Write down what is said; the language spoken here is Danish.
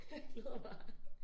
Jeg glæder mig